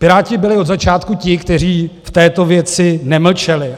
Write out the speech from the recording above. Piráti byli od začátku ti, kteří v této věci nemlčeli.